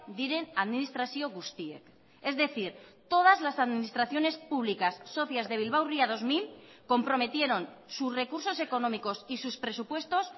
diren administrazio guztiek es decir todas las administraciones públicas socias de bilbao ría dos mil comprometieron sus recursos económicos y sus presupuestos